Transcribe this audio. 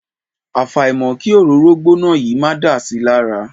Àfàìmọ̀ kí òróró gbóná yìí máa dà si lára.